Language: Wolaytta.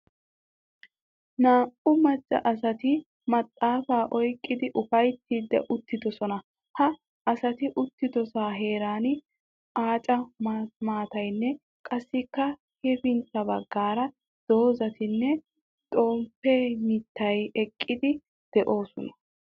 Naa''u macca asati maxaafaa oyqqidi ufayttiidi uttidoosona. Ha asati uttidoosona heeran aaca maataynne qassikka hefintta baggaara dozatinne xomppe mittati haakkidi de'oosona.